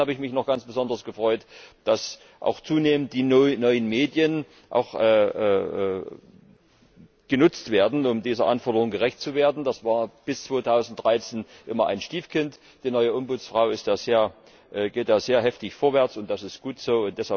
Und zum Zweiten habe ich mich noch ganz besonders gefreut, dass auch zunehmend die neuen Medien genutzt werden, um dieser Anforderung gerecht zu werden. Das war bis 2013 immer ein Stiefkind. Die neue Bürgerbeauftragte geht da sehr heftig vorwärts, und das ist gut so.